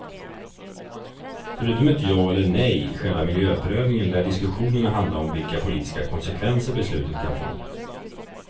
Förutom ett ja eller nej i själva miljöprövningen lär diskussionerna handla om vilka politiska konsekvenser beslutet kan få.